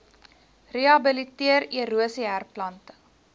rehabiliteer erosie herplanting